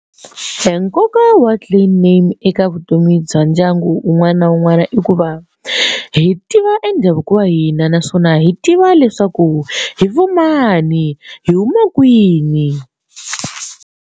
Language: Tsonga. Nkoka wa clan name eka vutomi bya ndyangu un'wana na un'wana i ku va hi tiva e ndhavuko wa hina naswona hi tiva leswaku hi va mani hi huma kwini.